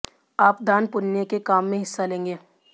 आप दान पुण्य के काम में हिस्सा लेंगे